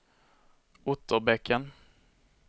Otterbäcken